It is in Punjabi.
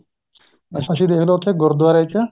ਅਸੀਂ ਦੇਖਲੋ ਉੱਥੇ ਗੁਰੁਦਵਾਰੇ ਚ